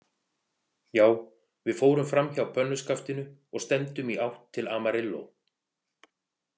Já, við fórum framhjá pönnuskaftinu og stefndum í átt til Amarillo.